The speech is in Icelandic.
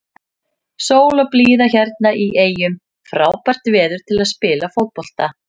Sól og blíða hérna í eyjum, frábært veður til að spila fótbolta.